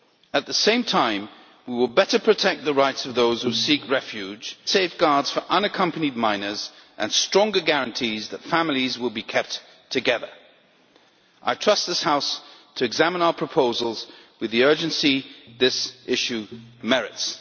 At the same time, we will better protect the rights of those who seek refuge through better safeguards for unaccompanied minors and stronger guarantees that families will be kept together. I trust this House to examine our proposals with the urgency this issue merits.